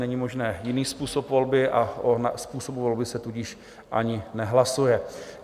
Není možný jiný způsob volby, a o způsobu volby se tudíž ani nehlasuje.